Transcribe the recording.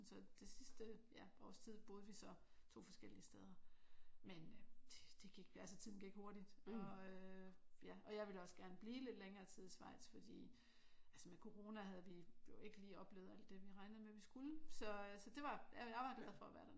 Så det sidste ja års tid boede vi så 2 forskellige steder men øh det gik altså tiden gik hurtigt og øh ja og jeg ville også gerne blive lidt længere tid i Schweiz fordi altså med corona havde vi jo ikke lige oplevet alt det vi regnede med at vi skulle så øh så det var jeg var glad for at være dernede